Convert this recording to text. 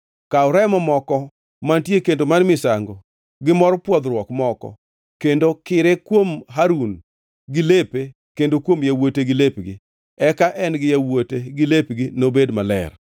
Kaw remo moko mantie e kendo mar misango gi mor pwodhruok moko kendo kire kuom Harun gi lepe kendo kuom yawuote gi lepgi. Eka en gi yawuote gi lepgi nobed maler.